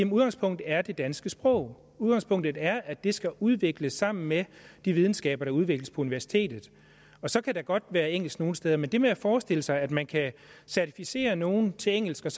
udgangspunktet er det danske sprog at udgangspunktet er at det skal udvikles sammen med de videnskaber der udvikles på universitetet så kan der godt være engelsk nogle steder men det med at forestille sig at man kan certificere nogle til engelsk og